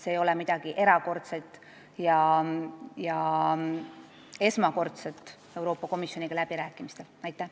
See ei ole midagi erakordset ega esmakordset läbirääkimistel Euroopa Komisjoniga.